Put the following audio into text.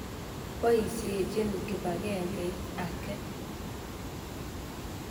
Poisyechin kipakengeit ake.